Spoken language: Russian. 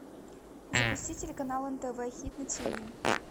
запусти телеканал нтв хит на тв